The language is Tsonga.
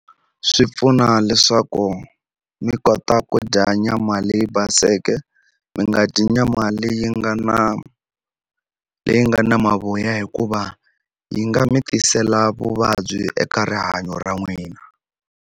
Swi pfuna leswaku mi kota ku dya nyama leyi baseke mi nga dyi nyama leyi nga na leyi nga na mavoya hikuva yi nga mi tisela vuvabyi eka rihanyo ra n'wina.